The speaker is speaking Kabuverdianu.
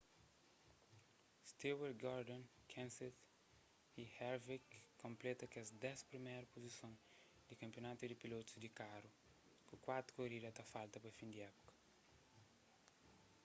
stewart gordon kenseth y harvick konpleta kes dés priméru puzison di kanpionatu di pilotus di karu ku kuatu korida ta falta pa fin di épuka